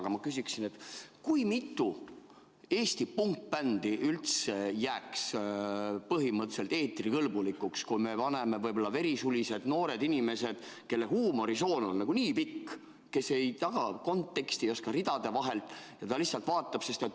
Aga ma küsin, kui mitu Eesti punkbändi üldse jääks eetrikõlbulikuks, kui me paneme võib-olla verisulis noored inimesed, kelle huumorisoon on nii pikk ja kes ei taha konteksti ega oska ridade vahelt, vaid kes lihtsalt vaatavad.